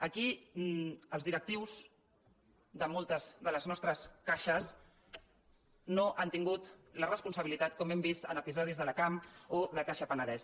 aquí els directius de moltes de les nostres caixes no han tin·gut la responsabilitat com hem vist en episodis de la cam o la caixa penedès